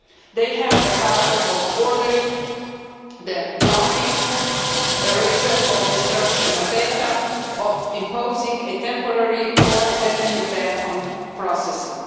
They have the power of ordering the blocking, erasure or destruction of data and of imposing a temporary or definite ban on processing.